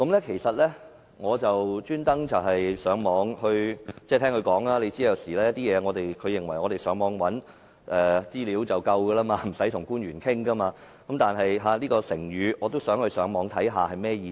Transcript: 其實，我特意上網找尋——因為據她所說，她認為我們上網尋找資料便已足夠，無需與官員溝通——但對於這個成語，我也想上網查究一下其意思。